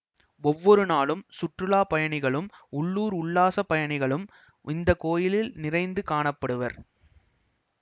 ஒவ்வொரு நாளும் சுற்றுலா பயணிகளும் உள்ளூர் உல்லாச பயணிகளும் இந்த கோயிலில் நிறைந்து காண படுவர்